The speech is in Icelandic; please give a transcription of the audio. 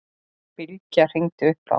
Bylgja hringdi upp á